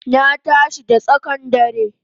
Na tashi da tsakan dare